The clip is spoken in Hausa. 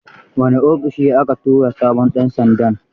Wane ofishi aka tura sabon ɗan sandan?